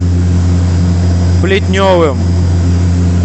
плетневым